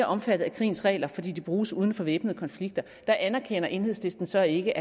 omfattet af krigens regler fordi de bruges uden for væbnede konflikter der anerkender enhedslisten så ikke